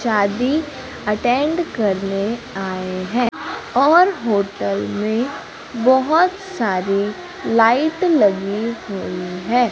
शादी अटेंड करने आए हैं और होटल में बोहोत सारी लाइट लगी हुई है।